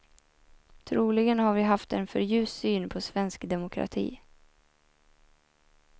Troligen har vi haft en för ljus syn på svensk demokrati.